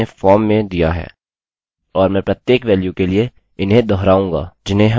और मैं प्रत्येक वेल्यू के लिए इन्हें दोहराऊँगा जिन्हें हम सब्मिट कर रहे हैं